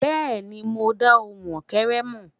bẹẹni, mo da ohùn ókéré mọ.